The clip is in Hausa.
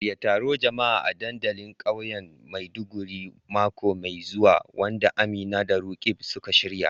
Shirya taron jama'a a dandalin kauyen Maiduguri mako mai zuwa, wanda Amina da Roqeeb suka shirya.